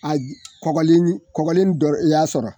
A j kɔgɔlen nin kɔgɔlen dɔ i y'a sɔrɔ